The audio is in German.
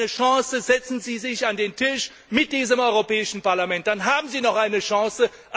Geben Sie eine Chance, setzen Sie sich an den Tisch mit diesem Europäischen Parlament, dann haben Sie noch eine Chance.